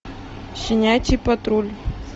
щенячий патруль